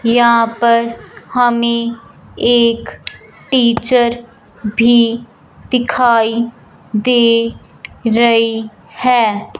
यहां पर हमें एक टीचर भी दिखाई दे रही है।